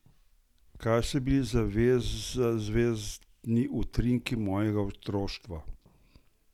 Kaj so bili zvezdni trenutki mojega otroštva?